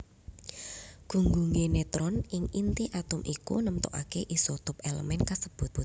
Gunggungé netron ing inti atom iku nemtokaké isotop èlemèn kasebut